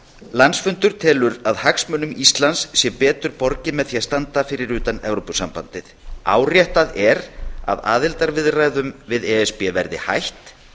landsfundur telur að hagsmunum íslands sé betur borgið með því að standa fyrir utan evrópusambandið áréttað er að aðildarviðræðum við e s b verði hætt